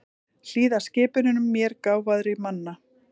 Hlýða skipunum mér gáfaðri manna.